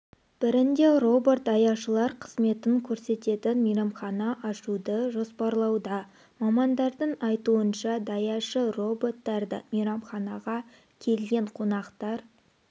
бірінде робот даяшылар қызмет көрсететін мейрамхана ашуды жоспарлауда мамандардың айтуынша даяшы роботтарды мейрамханаға келген қонақтар